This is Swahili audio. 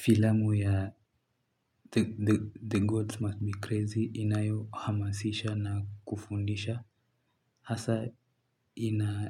Filamu ya The Gods Must Be Crazy inayohamasisha na kufundisha hasa